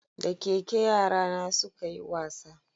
Da keke yara na su ka yi wasa